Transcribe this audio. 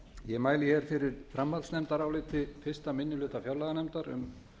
ég mæli fyrir framhaldsnefndaráliti fyrsti minni hluta fjárlaganefndar um